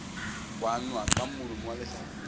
kwanwa ka molomo wa lehlabula